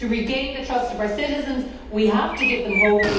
To regain the trust of our citizens we have to give them hope